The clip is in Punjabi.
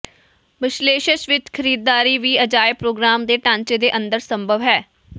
ਬ੍ਰਸੇਲਸ ਵਿੱਚ ਖਰੀਦਦਾਰੀ ਵੀ ਅਜਾਇਬ ਪ੍ਰੋਗ੍ਰਾਮ ਦੇ ਢਾਂਚੇ ਦੇ ਅੰਦਰ ਸੰਭਵ ਹੈ